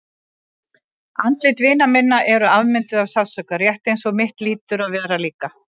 Andlit vina minna eru afmynduð af sársauka, rétt eins og mitt hlýtur að vera líka.